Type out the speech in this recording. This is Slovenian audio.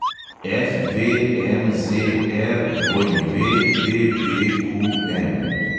FVMZRWDBQM